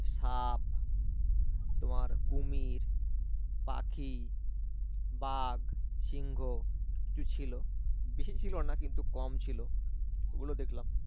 সাপ তোমার কুমির পাখি বাঘ সিংহ ছিল বেশি কিছু ছিল না কিন্তু কম ছিল ওগুলো দেখলাম